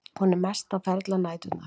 Hún er mest á ferli á næturnar.